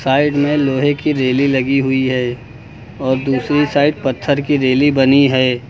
Side में लोहे की रेली लगी हुई है और दूसरी साइड पत्थर की रेली बनी है।